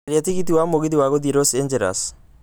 caria tigiti wa mũgithi wa gũthiĩlos Angeles